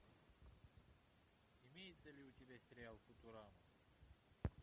имеется ли у тебя сериал футурама